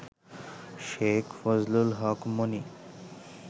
Sheikh Fazlul Haq Moni